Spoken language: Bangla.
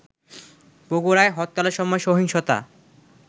বগুড়ায় হরতালের সময় সহিংসতা